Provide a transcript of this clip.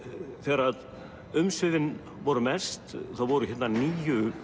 þegar umsvifin voru mest þá voru hérna níu